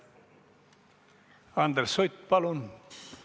Andres Sutt, palun!